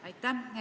Aitäh!